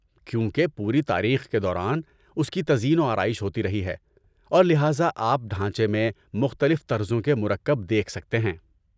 ‏کیونکہ پوری تاریخ کے دوران اس کی تزئین و آرائش ہوتی رہی ہے ، اور لہذا ، آپ ڈھانچے میں مختلف طرزوں کے مرکب دیکھ سکتے ہیں